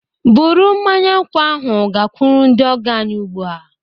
Bụrụ mmanya nkwụ ahụ gakwuru ndị ọgọ anyị ugbu a!